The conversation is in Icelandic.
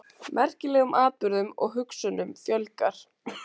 Merkilegum atburðum og hugsunum fjölgar.